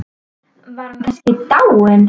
Var hann kannski dáinn?